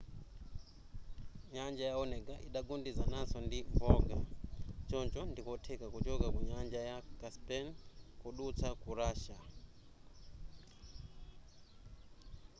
nyanja ya onega idagundanizananso ndi volga choncho ndikotheka kuchoka ku nyanja ya caspian kudutsa ku russia